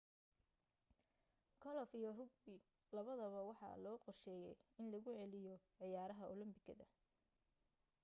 golof iyo rugby labadaba waxaa loo qorsheeyay in lagu celiyo ciyaaraha olombikada